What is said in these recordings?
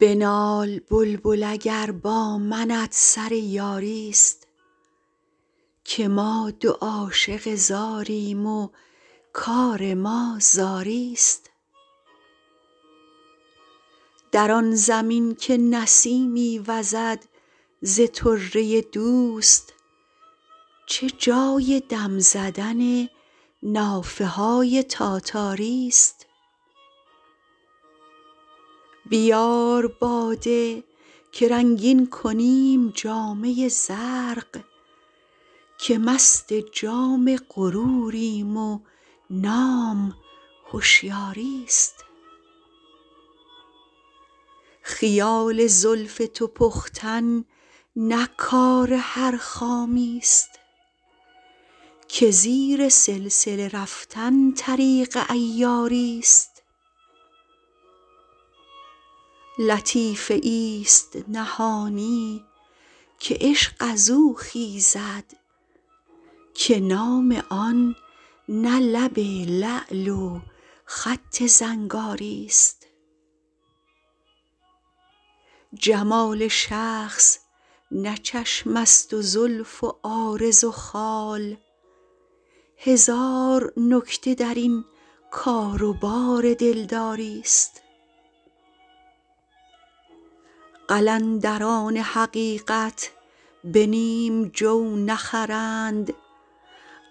بنال بلبل اگر با منت سر یاری ست که ما دو عاشق زاریم و کار ما زاری ست در آن زمین که نسیمی وزد ز طره دوست چه جای دم زدن نافه های تاتاری ست بیار باده که رنگین کنیم جامه زرق که مست جام غروریم و نام هشیاری ست خیال زلف تو پختن نه کار هر خامی ست که زیر سلسله رفتن طریق عیاری ست لطیفه ای ست نهانی که عشق از او خیزد که نام آن نه لب لعل و خط زنگاری ست جمال شخص نه چشم است و زلف و عارض و خال هزار نکته در این کار و بار دلداری ست قلندران حقیقت به نیم جو نخرند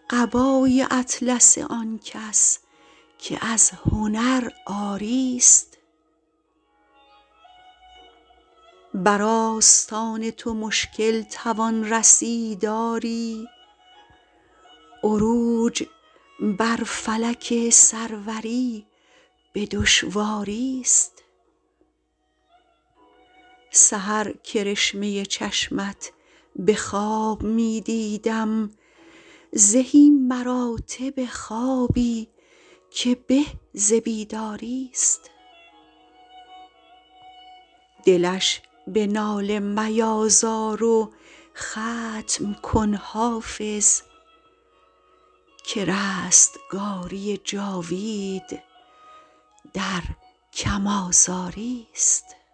قبای اطلس آن کس که از هنر عاری ست بر آستان تو مشکل توان رسید آری عروج بر فلک سروری به دشواری ست سحر کرشمه چشمت به خواب می دیدم زهی مراتب خوابی که به ز بیداری ست دلش به ناله میازار و ختم کن حافظ که رستگاری جاوید در کم آزاری ست